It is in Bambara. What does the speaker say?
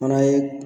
Fana ye